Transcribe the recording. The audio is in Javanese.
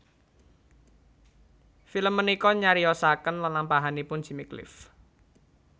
Film punika nyariyosaken lelampahanipun Jimmy Cliff